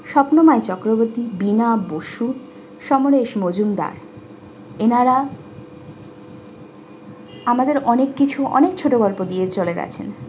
স্বপ্ননয় চক্রবর্তী বিনা বসু সমরেশ মজুমদার এনারা আমাদের অনেক কিছু অনেক ছোট গল্প দিয়ে চলে গেছেন।